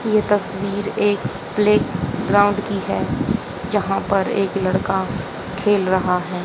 यह तस्वीर एक प्ले ग्राउंड की है यहां पर एक लड़का खेल रहा है।